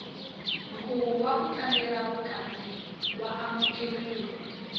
nkhuvo waku tlangela vukati wa amukeleka